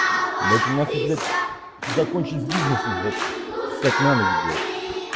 дайте блять закончить с бизнесом блять встать на ноги блять